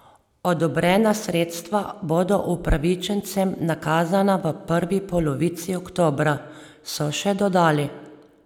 Odobrena sredstva bodo upravičencem nakazana v prvi polovici oktobra, so še dodali.